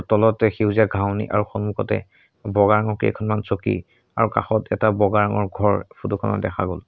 তলতে সেউজীয়া ঘাঁহনি আৰু সন্মুখতে বগা ৰঙৰ কেইখনমান চকী আৰু কাষত এটা বগা ৰঙৰ ঘৰ ফটো খনত দেখা গ'ল।